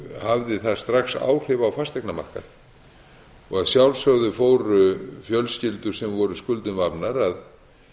hafði það strax áhrif á fasteignamarkaðinn að sjálfsögðu fóru fjölskyldur sem voru skuldum vafnar að